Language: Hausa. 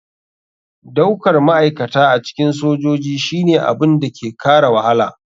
Daukar ma'aikata a cikin sojoji shine abin da ke kara wahala.